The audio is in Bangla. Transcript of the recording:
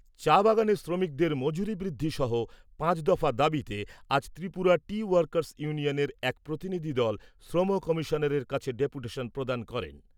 চা বাগানের শ্রমিকদের মজুরি বৃদ্ধি সহ পাঁচ দফা দাবিতে আজ ত্রিপুরা টি ওয়াকার্স ইউনিয়নের এক প্রতিনিধি দল শ্রম কমিশনারের কাছে ডেপুটেশন প্রদান করেন।